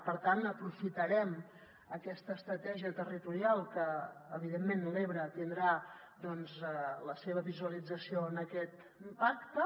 per tant aprofitarem aquesta estratègia territorial perquè evidentment l’ebre tindrà doncs la seva visualització en aquest pacte